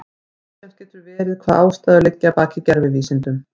Misjafnt getur verið hvaða ástæður liggja að baki gervivísindum.